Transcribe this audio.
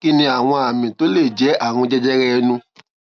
kí ni àwọn àmì tó lè jé àrùn jẹjẹrẹ ẹnu